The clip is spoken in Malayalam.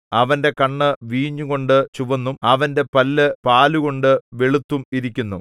അവന്റെ കണ്ണ് വീഞ്ഞുകൊണ്ടു ചുവന്നും അവന്റെ പല്ല് പാലുകൊണ്ടു വെളുത്തും ഇരിക്കുന്നു